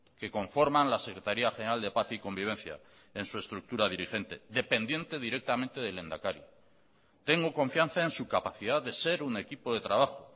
que conforman la secretaría general de paz y convivencia en su estructura dirigente dependiente directamente del lehendakari tengo confianza en su capacidad de ser un equipo de trabajo